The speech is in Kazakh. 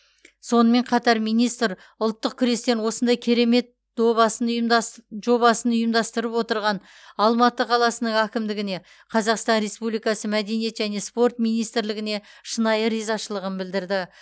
сонымен қатар министр ұлттық күрестен осындай керемет добасын ұйымдас жобасын ұйымдастырып отырған алматы қаласының әкімдігіне қазақстан республикасы мәдениет және спорт министрлігіне шынайы ризашылығын білдірді